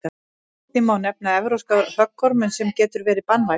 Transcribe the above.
einnig má nefna evrópska höggorminn sem getur verið banvænn